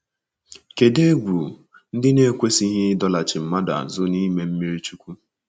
Kedụ egwu ndị na-ekwesịghị ịdọlachi mmadụ azụ n’ime mmiri chukwu?